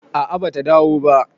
a a bata dawo ba